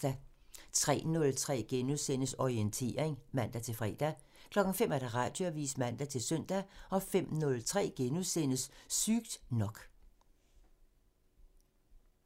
03:03: Orientering *(man-fre) 05:00: Radioavisen (man-søn) 05:03: Sygt nok *(man)